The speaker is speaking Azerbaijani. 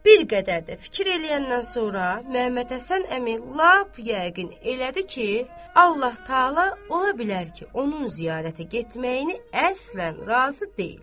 Bir qədər də fikir eləyəndən sonra Məhəmməd Həsən əmi lap yəqin elədi ki, Allah təala ola bilər ki, onun ziyarətə getməyini əslən razı deyil.